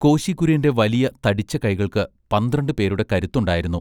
കോശി കുര്യന്റെ വല്യ തടിച്ച കൈകൾക്ക് പന്ത്രണ്ട് പേരുടെ കരുത്തുണ്ടായിരുന്നു.